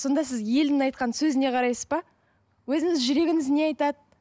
сонда сіз елдің айтқан сөзіне қарайсыз ба өзіңіз жүрегіңіз не айтады